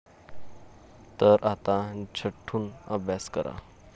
तर आता झटून अभ्यास करा.